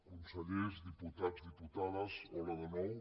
consellers diputats diputades hola de nou